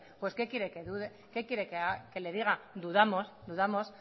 pues qué quiere que le diga dudamos dudamos